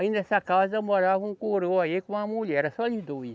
Aí nessa casa morava um coroa aí com uma mulher, era só eles dois.